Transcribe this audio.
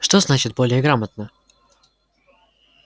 что значит более грамотно